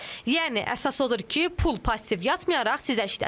Yəni əsas odur ki, pul passiv yatmayaraq sizə işləsin.